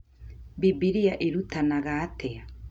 Bibilia ĩrutanaga atĩa?